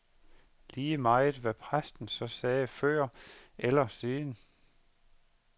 Lige meget, hvad præsten så sagde før eller siden.